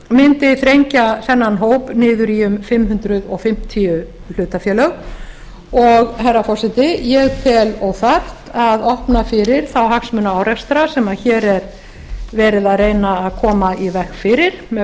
mundi þrengja þennan hóp niður í um fimm hundruð fimmtíu hlutafélög og herra forseti ég tel óþarft að opna fyrir þá hagsmunaárekstra sem hér er verið að reyna að koma í veg fyrir með